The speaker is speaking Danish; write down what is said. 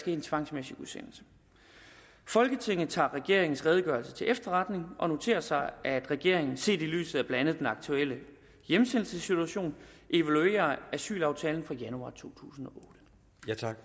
en tvangsmæssig udsendelse folketinget tager regeringens redegørelse til efterretning og noterer sig at regeringen set i lyset af blandt andet den aktuelle hjemsendelsessituation evaluerer asylaftalen fra januar to tusind